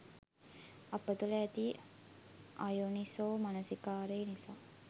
අප තුළ ඇති අයෝනිසෝ මනසිකාරය නිසා